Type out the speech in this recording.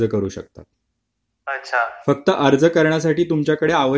फक्त अर्ज करण्यासाठी तुमच्याकडे आवश्यक ती कागदपत्रे असणे आवश्यक आहे